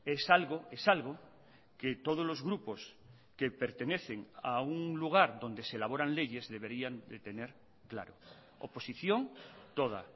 es algo es algo que todos los grupos que pertenecen a un lugar donde se elaboran leyes deberían de tener claro oposición toda